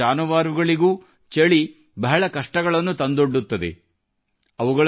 ನಿಸ್ಸಹಾಯಕ ಜಾನುವ಻ರುಗಳಿಗೂ ಚಳಿ ಬಹಳ ಕಷ್ಟಗಳನ್ನು ತಂದೊಡ್ಡುತ್ತದೆ